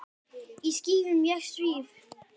Í skýjum ég svíf.